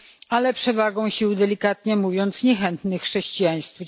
ale przewagą sił delikatnie mówiąc niechętnych chrześcijaństwu.